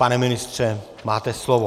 Pane ministře, máte slovo.